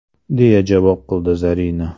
deya javob qildi Zarina.